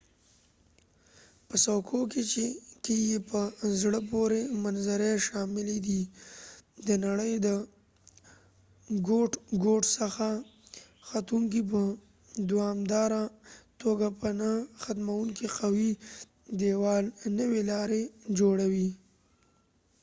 په څوکو کې یې په زړه پورې منظرې شاملې دي د نړۍ له ګوټ ګوټ څخه ختونکي په دوامداره توګه پر نه ختمیدونکي قوي دیوال نوې لارې جوړوي